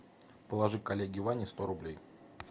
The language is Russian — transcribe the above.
положи коллеге ване сто рублей